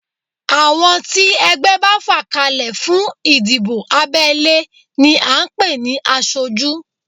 Àwọn tí ẹgbẹ́ bá fà kalẹ̀ fún ìdìbò abẹ́lé ni à ń pè ní aṣojú